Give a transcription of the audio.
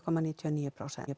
níutíu og níu